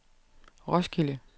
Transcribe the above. Roskilde